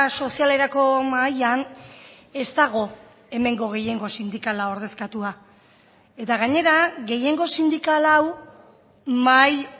sozialerako mahaian ez dago hemengo gehiengo sindikala ordezkatua eta gainera gehiengo sindikal hau mahai